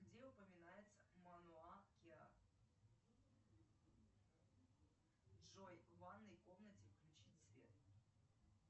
где упоминается монуа киа джой в ванной комнате включить свет